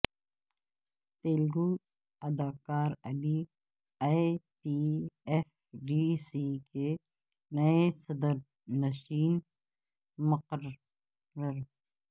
تلگو اداکار Ali A P F D C کے نئے صدرنشین مقرر